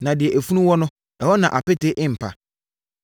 Na deɛ efunu wɔ no, ɛhɔ na apete mpa.